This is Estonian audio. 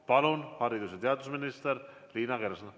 Palun, haridus‑ ja teadusminister Liina Kersna!